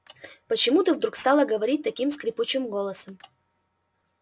почему ты вдруг стала говорить таким скрипучим голосом